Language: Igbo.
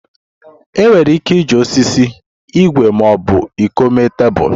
Enwere ike iji osisi, igwe ma ọ bụ iko mee tebụl.